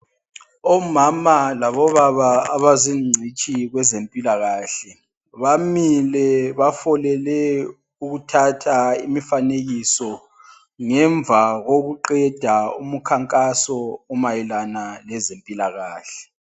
Omama labobaba abazingcitshi kwezempilakahle, bamile bafolele ukuthatha imifanekiso ngemva kokuqeda umkhankaso omayelana lezempilakahle.